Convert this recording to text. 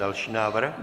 Další návrh?